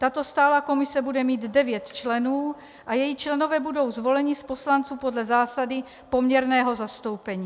Tato stálá komise bude mít devět členů a její členové budou zvoleni z poslanců podle zásady poměrného zastoupení.